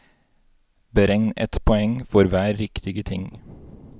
Beregn ett poeng for hver riktige ting.